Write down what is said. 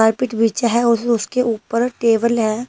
Carpet पिछा है और उस-उसके ऊपर टेबल है।